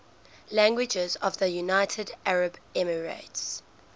languages of the united arab emirates